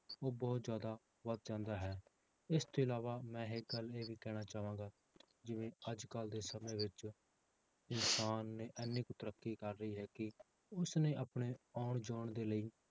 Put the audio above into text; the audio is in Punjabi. ਉਹ ਬਹੁਤ ਜ਼ਿਆਦਾ ਵੱਧ ਜਾਂਦਾ ਹੈ, ਇਸ ਤੋਂ ਇਲਾਵਾ ਮੈਂ ਇੱਕ ਗੱਲ ਇਹ ਵੀ ਕਹਿਣਾ ਚਾਹਾਂਗਾ ਜਿਵੇਂ ਅੱਜ ਕੱਲ੍ਹ ਦੇ ਸਮੇਂ ਵਿੱਚ ਇਨਸਾਨ ਨੇ ਇੰਨੀ ਕੁ ਤਰੱਕੀ ਕਰ ਲਈ ਹੈ ਕਿ ਉਸਨੇ ਆਪਣੇ ਆਉਣ ਜਾਣ ਦੇ ਲਈ